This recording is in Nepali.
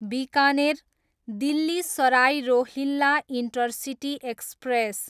Bikaner, Delhi Sarai Rohilla intercity express